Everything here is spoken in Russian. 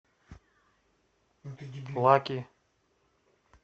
лаки